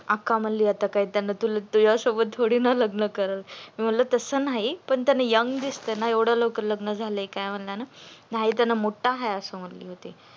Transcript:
अक्का म्हणली आत्ता तुला काय त्याच्या सोबत न लग्न करायच आहे म्हणल तस नाही पण त्यानी young दिसतोय ना एव्हडया लवकर लग्न झालय काय म्हणलंय ना नाही त्यांनी मोठा हाय आस म्हणत होती